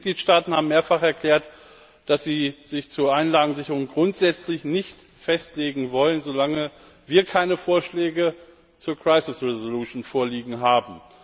Die Mitgliedstaaten haben mehrfach erklärt, dass sie sich zur Anlagensicherung grundsächlich nicht festlegen wollen, solange wir keine Vorschläge zur crisis resolution vorliegen haben.